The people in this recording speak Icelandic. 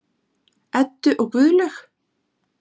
Eddu og Guðlaug.